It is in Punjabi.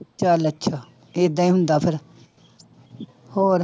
ਚੱਲ ਅੱਛਾ ਏਦਾਂ ਹੀ ਹੁੰਦਾ ਫਿਰ ਹੋਰ।